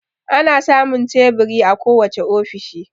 Ana samun teburi a kowace ofishi